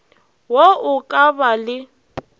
wo o ka ba le